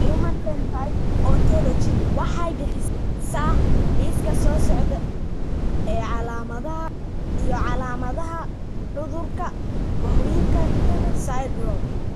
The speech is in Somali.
The Human Phenotype Ontology waxay bixisaa liiska soo socda ee calaamadaha iyo calaamadaha cudurka Vohwinkel syndrome.